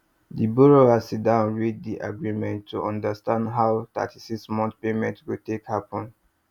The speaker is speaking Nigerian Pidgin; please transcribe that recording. di borrower sit down read di agreement to understand how 36month payment go take happen